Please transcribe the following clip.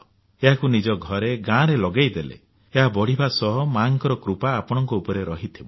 ଏହାକୁ ନିଜ ଘରେ ଗାଁରେ ଲଗାଇଦେଲେ ଏହା ବଢ଼ିବା ସହ ମାଙ୍କର କୃପା ଆପଣଙ୍କ ଉପରେ ରହିଥିବ